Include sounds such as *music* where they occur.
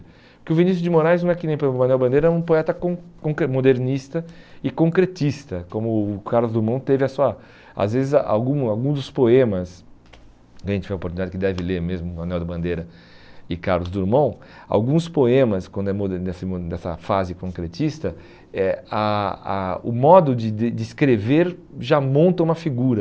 Porque o Vinícius de Moraes não é que nem por exemplo o Manuel Bandeira, é um poeta con concre modernista e concretista, como o Carlos Drummond teve a sua... Às vezes, ah algum alguns dos poemas, a gente tem a oportunidade que deve ler mesmo o Manuel Bandeira e Carlos Drummond, alguns poemas, quando é *unintelligible* nessa fase concretista, eh a a o modo de des de escrever já monta uma figura.